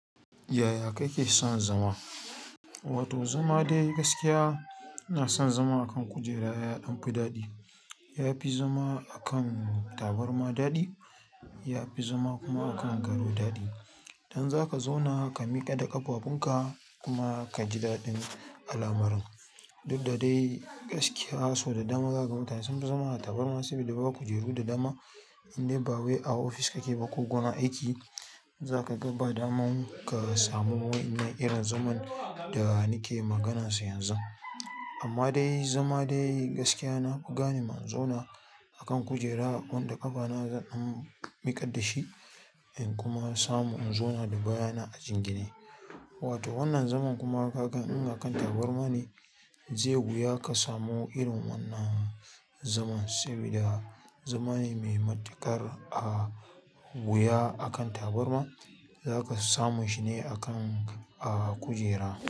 Yaya kake son zama? Wato zama dai gaskiya, ina son zama a kan kujera ya ɗan fi daɗi. Yafi zama a kan tabarma daɗi, ya fi zama kuma a kan gado daɗi. Idan zaka zauna ka miƙa da ƙafafunka kuma ka ji daɗin al'amarin, duk da dai gaskiya so da dama zaka ga mutane sun fi zama a tabarma saboda ba kujeru da dama, indai ba wai a ofis kake ba ko gurin aiki, zaka ga ba daman ka samu wainnan irin zaman da nake maganansa yanzu. Amma dai zama dai gaskiya nafi gane ma in zauna a kan kujera wanda ƙafa na zan miƙar dashi in kuma samu in zauna da baya na a jingine. Wato wannan zaman kuma ka gan in akan tabarma ne, zai wuya ka samu irin wannan zaman saboda zama ne mai matukar a wuya a kan tabarma, zaka samu shi ne a kan a kujera.